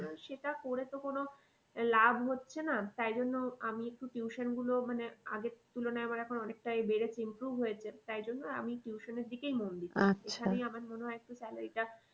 সেটা করে তো কোনো লাভ হচ্ছে না তাইজন্য আমি একটু tuition গুলো আগে মানে আগের তুলনায় আমার এখন অনেকটাই বেড়েছে improve হয়েছে তাইজন্য আমি tuition এর দিকেই মন ওখানেই আমার মনে হয় একটু salary টা